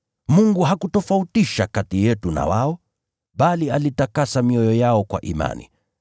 Mungu hakutofautisha kati yetu na wao, bali alitakasa mioyo yao kwa imani.